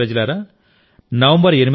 నా ప్రియమైన దేశప్రజలారా